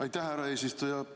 Aitäh, härra eesistuja!